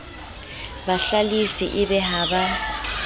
bahlalifi e be ha ba